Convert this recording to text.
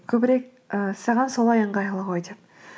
көбірек ііі саған солай ыңғайлы ғой деп